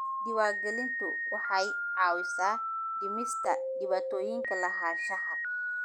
Diiwaangelintu waxay caawisaa dhimista dhibaatooyinka lahaanshaha.